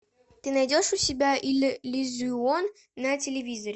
ты найдешь у себя иллюзион на телевизоре